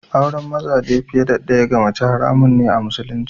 Aure mazaje fiye da ɗaya ga mace haramun ne a Musulunci.